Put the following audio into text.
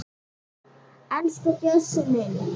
Elsku Bjössi minn.